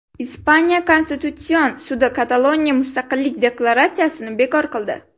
Ispaniya konstitutsion sudi Kataloniya mustaqillik deklaratsiyasini bekor qildi.